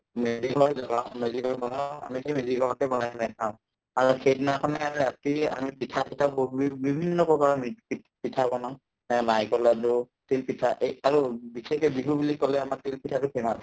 মেজি জ্বলোৱা হয় আৰু সেইদিনাখনে ৰাতি আমি পিঠা -চিঠা বিভিন্ন প্ৰকাৰৰ পিঠ পিঠা বনাও এই নাৰিকলৰ লাদ্দু তিল পিঠা এই আৰু বিশেষকে বিহু বুলি কলে আমাৰ তিল পিঠাতো famous